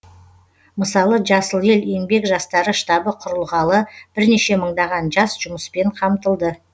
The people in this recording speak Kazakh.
мысалы жасыл ел еңбек жастары штабы құрылғалы бірнеше мыңдаған жас жұмыспен қамтылды